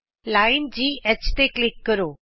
ਰੇਖਾ ਘ ਤੇ ਕਲਿਕ ਕਰੋ